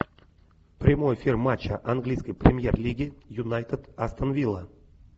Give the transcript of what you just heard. прямой эфир матча английской премьер лиги юнайтед астон вилла